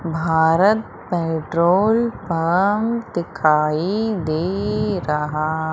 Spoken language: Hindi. भारत पेट्रोल पंप दिखाई दे रहा--